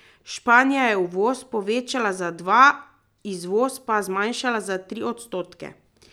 Španija je uvoz povečala za dva, izvoz pa zmanjšala za tri odstotke.